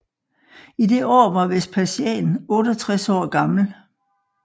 I det år var Vespasian 68 år gammel